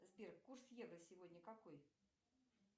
сбер курс евро сегодня какой